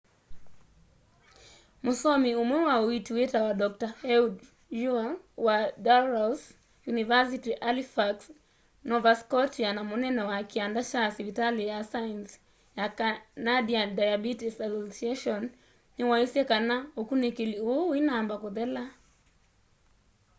mũsomi ũmwe wa uiiti wĩtawa dr ehud ur wa dalhousie university halifax nova scotia na munene wa kianda kya sivitali na saienzi ya canadian diabetes association niwaisye kana ukunikili uu uinamba kuthela